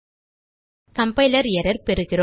compiler error பெறுகிறோம்